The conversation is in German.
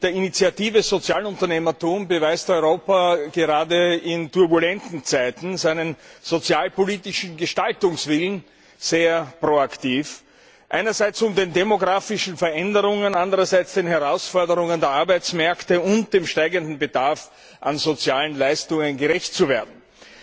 Mit der Initiative Sozialunternehmertum beweist Europa gerade in turbulenten Zeiten seinen sozialpolitischen Gestaltungswillen sehr proaktiv, einerseits um den demografischen Veränderungen, andererseits den Herausforderungen der Arbeitsmärkte und dem steigenden Bedarf an sozialen Leistungen gerecht zu werden, und